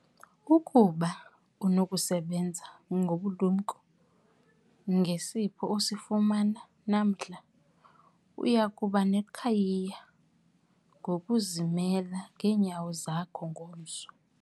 Ukuba unokusebenza ngobulumko ngesipho osifumana namhla, uya kuba neqhayiya ngokuzimela ngeenyawo zakho ngomso.